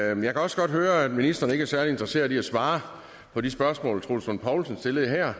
jeg kan også godt høre at ministeren ikke er særlig interesseret i at svare på de spørgsmål troels lund poulsen stillede her